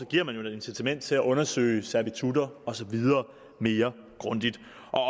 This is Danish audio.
giver man jo et incitament til at undersøge servitutter og så videre mere grundigt